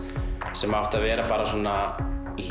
sem átti að vera bara svona